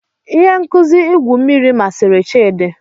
Ihe nkuzi igwu mmiri masịrị Chidi.